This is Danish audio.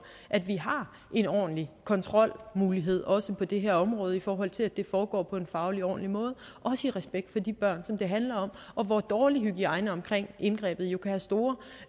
at vi har en ordentlig kontrolmulighed også på det her område i forhold til at det foregår på en fagligt ordentlig måde også i respekt for de børn som det handler om og hvor dårlig hygiejne omkring indgrebet jo kan have store